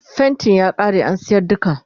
faintin ya ƙare an sayar duka